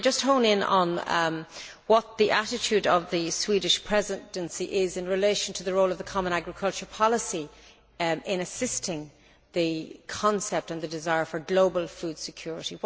Can I just hone in on what the attitude of the Swedish Presidency is in relation to the role of the common agricultural policy in assisting the concept and the desire for global food security.